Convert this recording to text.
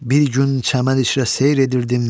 Bir gün çəmən içrə seyr edirdim.